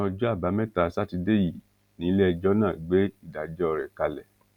ọsán ọjọ àbámẹta sátidé yìí níléẹjọ náà gbé ìdájọ rẹ kalẹ